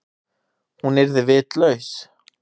Hún yrði vitlaus.